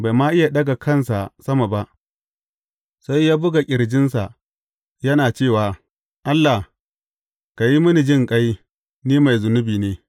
Bai ma iya ɗaga kansa sama ba, sai ya buga ƙirjinsa, yana cewa, Allah, ka yi mini jinƙai, ni mai zunubi ne.’